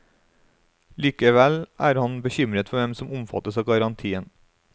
Likevel er han bekymret for hvem som omfattes av garantien.